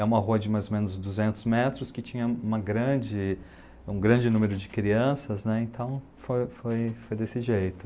É uma rua de mais ou menos duzentos metros que tinha uma grande, um grande número de crianças, né, então foi, foi desse jeito.